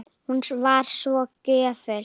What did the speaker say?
Hún var svo gjöful.